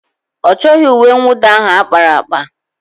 Ọ chọghị uwe mwụda ahụ ákpáraàkpà?